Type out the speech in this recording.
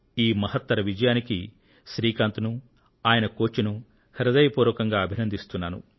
ఈ మహత్తర విజయానికి శ్రీకాంత్ ను ఆయన కోచ్ ను హృదయ పూర్వకంగా అభినందిస్తున్నాను